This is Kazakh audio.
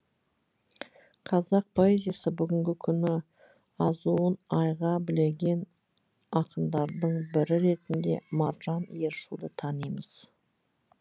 қазақ поэзиясы бүгінгі күні азуын айға білеген ақындардың бірі ретінде маржан ершуді танимыз